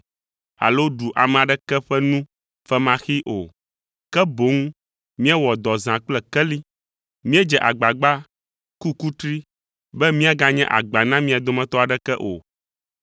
alo ɖu ame aɖeke ƒe nu femaxee o, ke boŋ míewɔ dɔ zã kple keli. Míedze agbagba, ku kutri be míaganye agba na mia dometɔ aɖeke o.